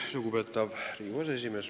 Lugupeetav Riigikogu aseesimees!